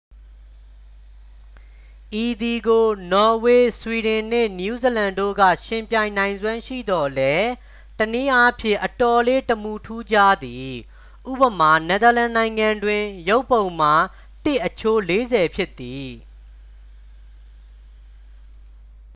ဤသည်ကို နော်ဝေ၊ ဆွီဒင်နှင့် နယူးဇီလန်တို့က ယှဉ်ပြိုင်နိုင်စွမ်းရှိသော်လည်း တစ်နည်းအားဖြင့် အတော်လေး တမူထူးခြားသည် ဥပမာ- နယ်သာလန်နိုင်ငံတွင် ရုပ်ပုံမှာ တစ် အချိုး လေးဆယ်ဖြစ်သည်။